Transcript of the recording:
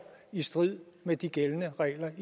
i strid med de gældende regler